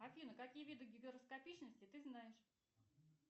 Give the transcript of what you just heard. афина какие виды гигроскопичности ты знаешь